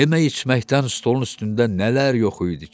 Yemək-içməkdən stolun üstündə nələr yox idi ki,